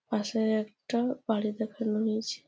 পাশে একটা বাড়ি দেখানো হয়েছে।